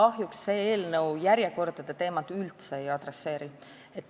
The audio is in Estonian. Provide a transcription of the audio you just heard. Kahjuks see eelnõu järjekordade teemaga üldse ei tegele.